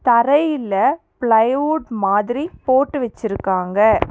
தரையில ப்ளைவுட் மாதிரி போட்டு வச்சிருக்காங்க.